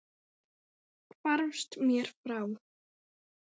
Hvarfst mér frá.